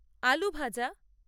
আলু ভাজা